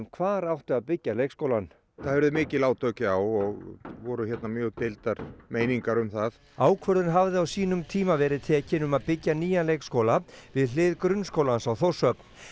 hvar átti að byggja leikskólann það urðu mikil átök já og voru hérna mjög deildar meiningar um það ákvörðun hafði á sínum tíma verið tekin um að byggja nýjan leikskóla við hlið grunnskólans á Þórshöfn